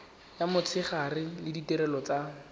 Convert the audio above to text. ya motshegare le ditirelo tsa